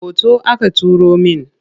Hoto aka turo min.